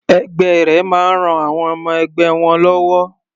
Ẹgbẹ́ rẹ máa ń ran àwọn ọmọ-ẹgbẹ́ wọn lọ́wọ́.